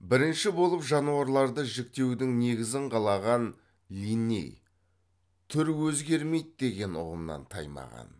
бірінші болып жануарларды жіктеудің негізін қалаған линней түр өзгермейді деген ұғымнан таймаған